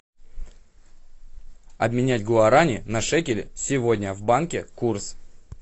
обменять гуарани на шекели сегодня в банке курс